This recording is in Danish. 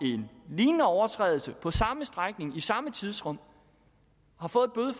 en lignende overtrædelse på samme strækning i samme tidsrum